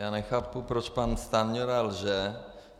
Já nechápu, proč pan Stanjura lže.